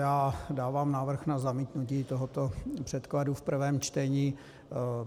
Já dávám návrh na zamítnutí tohoto předkladu v prvém čtení.